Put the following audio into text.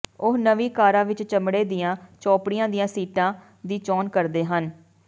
ਉਹ ਨਵੀਂ ਕਾਰਾਂ ਵਿਚ ਚਮੜੇ ਦੀਆਂ ਚੋਪੜੀਆਂ ਦੀਆਂ ਸੀਟਾਂ ਦੀ ਚੋਣ ਕਰਦੇ ਹਨ